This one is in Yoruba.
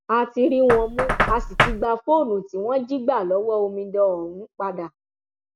a ti rí wọn mú a sì ti gba fóònù tí wọn jí gbà lọwọ omidan ọhún padà